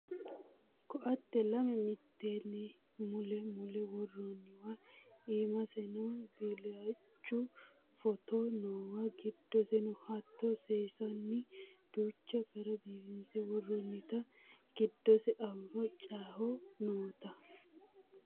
ko"atte lame mitteenni mule mule worroonniwa iimaseno billachu footo noowa giddoseno hattoo seesinni duucha gara biifinse woroonnita giddose fano callicho noota